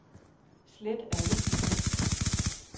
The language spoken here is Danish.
Slet alle filer.